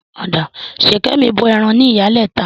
Ṣìkẹ̀mi bọ ẹran ní Ìyálẹta.